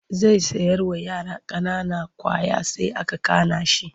Zai sayarwa yara ƙanana ƙwaya sai aka kana shi.